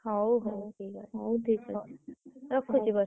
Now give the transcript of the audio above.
ହଉ ହଉ ହଉ ଠିକ୍ ଅଛି। ରଖୁଛି ବର୍ଷା।